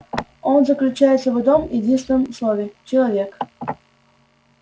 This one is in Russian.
он заключается в одном-единственном слове человек